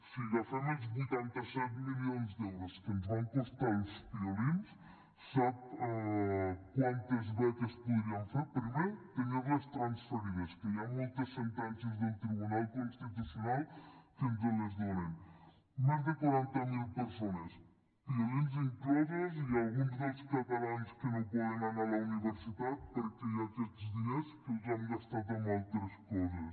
si agafem els vuitanta set milions d’euros que ens van costar els piolins sap quantes beques podríem fer primer tenir les transferides que hi ha moltes sentències del tribunal constitucional que ens les donen més de quaranta mil persones piolins inclosos i alguns dels catalans que no poden anar a la universitat perquè hi ha aquests diners que els hem gastat en altres coses